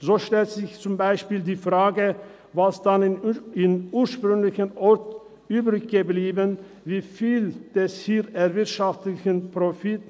So stellt sich zum Beispiel die Frage, was denn am ursprünglichen Ort übrig bleibt, wie viel des hier erwirtschafteten Profits